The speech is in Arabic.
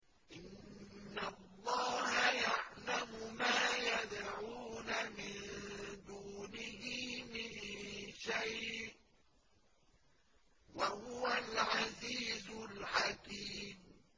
إِنَّ اللَّهَ يَعْلَمُ مَا يَدْعُونَ مِن دُونِهِ مِن شَيْءٍ ۚ وَهُوَ الْعَزِيزُ الْحَكِيمُ